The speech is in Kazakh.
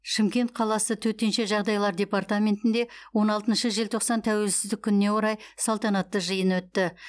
шымкент қаласы төтенше жағдайлар департаментінде он алтыншы желтоқсан тәуелсіздік күніне орай салтанатты жиын өтті